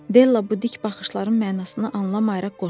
Della bu dik baxışların mənasını anlamayaraq qorxdu.